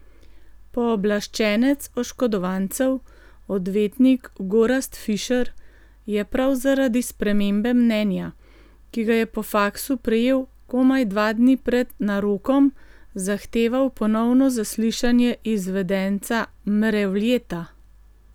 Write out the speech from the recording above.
Pooblaščenec oškodovancev, odvetnik Gorazd Fišer, je prav zaradi spremembe mnenja, ki ga je po faksu prejel komaj dva dni pred narokom, zahteval ponovno zaslišanje izvedenca Mrevljeta.